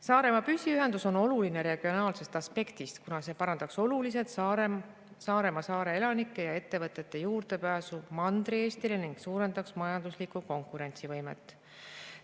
Saaremaa püsiühendus on oluline regionaalsest aspektist, kuna see parandaks oluliselt Saaremaa elanike ja ettevõtete juurdepääsu Mandri-Eestile ning suurendaks majandusliku konkurentsi võimet.